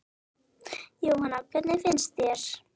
Jóhanna: Hvernig finnst þér?